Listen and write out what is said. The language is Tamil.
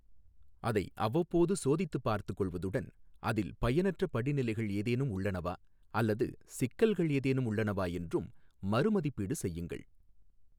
அதை அவ்வப்போது சோதித்துப் பார்த்துக்கொள்வதுடன் அதில் பயனற்ற படிநிலைகள் ஏதேனும் உள்ளனவா அல்லது சிக்கல்கள் ஏதேனும் உள்ளனவா என்றும் மறு மதிப்பீடு செய்யுங்கள்.